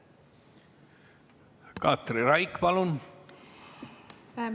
Katri Raik, palun!